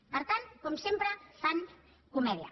per tant com sempre fan comèdia